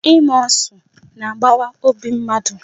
Ịma ọsụ na-agbawa obi mmadụ.